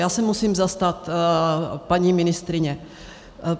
Já se musím zastat paní ministryně.